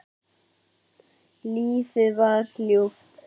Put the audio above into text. Lífið var ljúft.